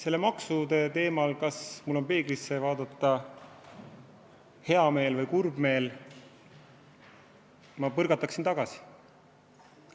Selle maksude teema – kas mul on peeglisse vaadata hea meel või kurb meel – ma põrgataksin tagasi.